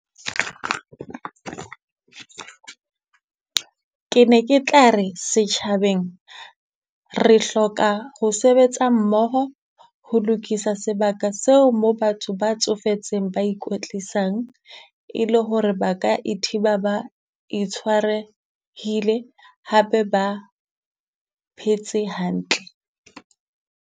Ke ne ke tlare setjhabeng re hloka ho sebetsa mmoho, ho lokisa sebaka seo mo batho ba tsofetseng ba ikwetlisang. E le hore ba ka e thiba ba itshwarehile, hape ba phetse hantle.